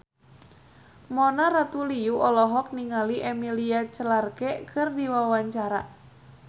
Mona Ratuliu olohok ningali Emilia Clarke keur diwawancara